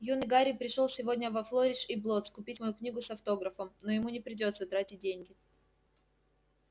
юный гарри пришёл сегодня во флориш и блоттс купить мою книгу с автографом но ему не придётся тратить деньги